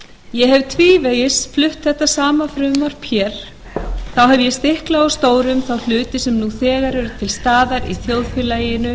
ég hef tvívegis flutt þetta sama frumvarp hér þá hef ég stiklað á stóru um þá hluti sem nú þegar eru til staðar í þjóðfélaginu